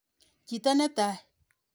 Chito ne taai.